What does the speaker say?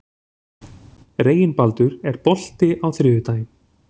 Reginbaldur, er bolti á þriðjudaginn?